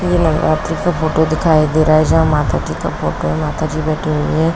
ये नवरात्री का फोटो दिखाई दे रहा है। जहाँ माता जी का फोटो है। माता जी बैठी हुई है।